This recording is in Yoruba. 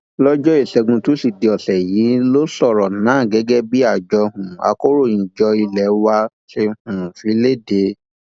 lọjọ ìṣẹgun tusidee ọsẹ yìí ló sọrọ náà gẹgẹ bí àjọ um akọròyìnjọ ilé wa ṣe um fi lédè